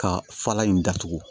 Ka fara in datugu